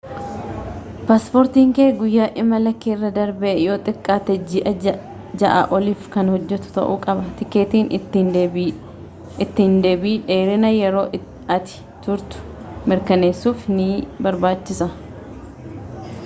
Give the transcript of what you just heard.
paaspoortiin kee guyyoota imalaa keerra darbee yoo xiqqaate ji'a 6 oliif kan hojjetu ta'uu qaba tikeetiin ittiin deebii dheerina yeroo ati turtuu mirkaneessuuf ni barbaachisa